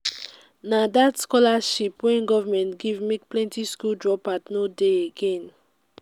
na dat scholarship wey government give make plenty skool drop-out no dey again.